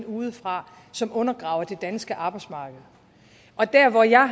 udefra som undergraver det danske arbejdsmarked og der hvor jeg